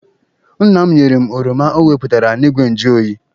Nna m nyere m oroma o weputara n'igwe njụ oyi.